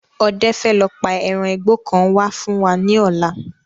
Ọdẹ fẹ lọ pa eran igbó kan wá fún wa ní ọ̀la